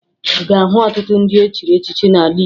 Ị ga-ahụ ọtụtụ ndị e chiri echichi n'ala Igbo